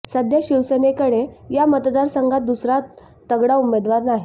सध्या शिवसेनेकडे या मतदारसंघात दुसरा तगडा उमेदवार नाही